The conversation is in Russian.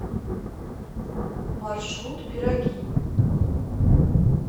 маршрут пироги